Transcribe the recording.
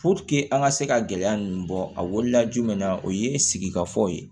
an ka se ka gɛlɛya ninnu bɔ a wolola jumɛn na o ye sigikafɔw ye